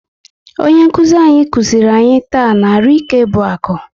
Onye nkụzi anyị kụziri anyị taa na " Arụike bụ akụ"